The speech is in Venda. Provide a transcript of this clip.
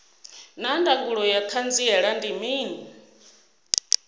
naa ndangulo ya hanziela ndi mini